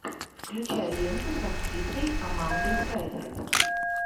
включай ленту с актрисой амандой сайфред